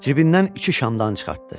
Cibindən iki şamdan çıxartdı.